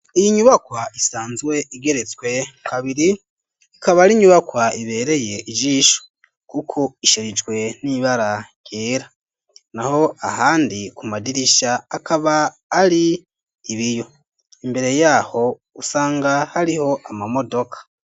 Iyi nyubakwa isanzwe igeretswe kabiri ikaba ari nyubakwa ibereye ijisho kuko isherijwe n'ibara ryera naho ahandi ku madirisha akaba ari ibiyo imbere yaho usanga hariho ama modoka.